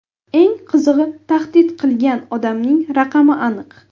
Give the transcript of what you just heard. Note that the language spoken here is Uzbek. Eng qizig‘i, tahdid qilgan odamning raqami aniq.